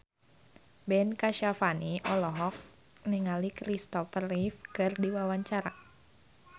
Ben Kasyafani olohok ningali Kristopher Reeve keur diwawancara